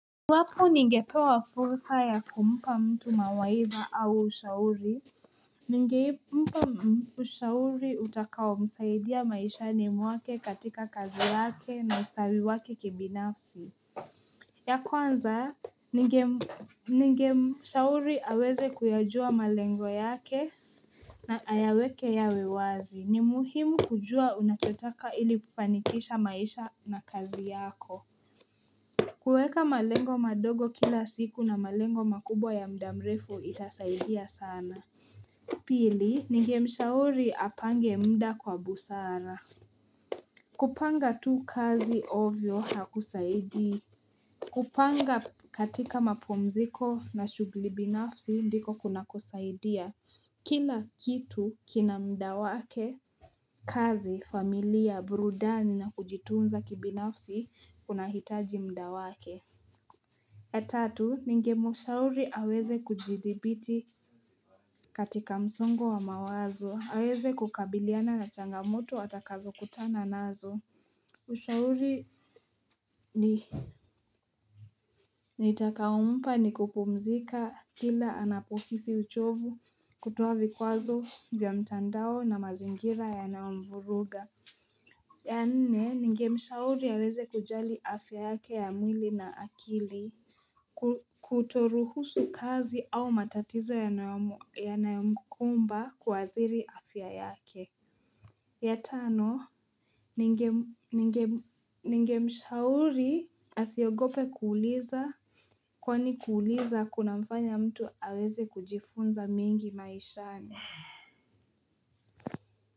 Iwapo ningepewa fursa ya kumpa mtu mawaidha au ushauri Ningei mpa ushauri utakaomsaidia maishani mwake katika kazi yake na ustiwi wake kibinafsi ya kwanza ninge shauri aweze kuyajua malengo yake na ayaweke yawe wazi ni muhimu kujua unachotaka ili kufanikisha maisha na kazi yako kueka malengo madogo kila siku na malengo makubwa ya muda mrefu itasaidia sana Pili, nignemshauri apange mda kwa busara kupanga tu kazi ovyo hakusaidii kupanga katika mapumziko na shugli binafsi ndiko kuna kusaidia Kila kitu kina mda wake kazi, familia, burudani na kujitunza kibinafsi kunahitaji mda wake ya tatu, ningemshauri aweze kujidhibiti katika msongo wa mawazo, aweze kukabiliana na changamoto atakazokutana nazo Ushauri ni nitakaompa ni kupumzika kila anapohisi uchovu kutoa vikwazo vya mtandao na mazingira yanaomvuruga ya nne, ningemshauri aweze kujali afya yake ya mwili na akili Kutoruhusu kazi au matatizo yanayomkumba kuadhiri afya yake ya tano, ningemshauri asiogope kuuliza Kwani kuuliza kunamfanya mtu aweze kujifunza mingi maishani.